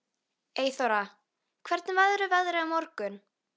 Eyþóra, hvernig verður veðrið á morgun?